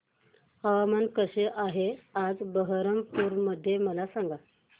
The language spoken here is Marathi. हवामान कसे आहे आज बरहमपुर मध्ये मला सांगा